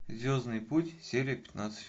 звездный путь серия пятнадцать